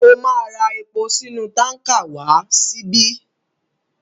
Ó máa ra epo sínú tánkà wá síbí.